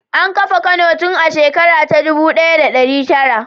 An kafa Kano tun a shekara ta dubu ɗaya da ɗari tara.